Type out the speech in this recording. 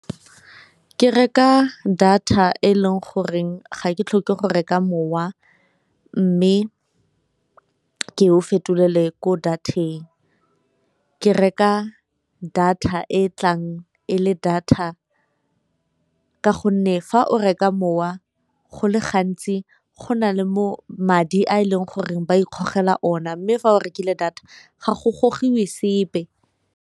Ke reka data e leng goreng ga ke tlhoke go reka mowa, mme ke o fetolelwe ko data-eng. Ke reka data e tlang e le data ka gonne fa o reka mowa go le gantsi go na le mo madi a e leng goreng ba ikgogela ona, mme fa o rekile data ga go gogilwe sepe.